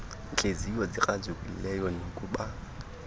ntliziyo zikrazukileyo nakuba